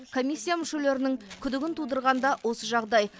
комиссия мүшелерінің күдігін тудырған да осы жағдай